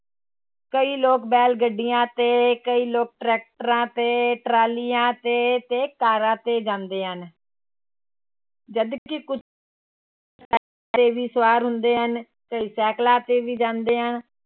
ਕਈ ਲੋਕ ਬੈਲ ਗੱਡੀਆਂ ਤੇ ਕਈ ਲੋਕ ਟ੍ਰੈਕਟਰਾਂ ਤੇ ਟਰਾਲੀਆਂ ਤੇ, ਤੇ ਕਾਰਾਂ ਤੇ ਜਾਂਦੇ ਹਨ ਜਦ ਕਿ ਕੁ ਸਵਾਰ ਹੁੰਦੇ ਹਨ ਕਈ ਸਾਇਕਲਾਂ ਤੇੇ ਵੀ ਜਾਂਦੇ ਹਨ,